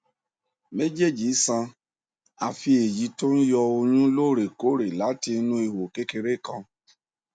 méjèèjì san àfí èyí tó ń yọ ọyún lóòrè kóòrè láti inú ihò kékeré kan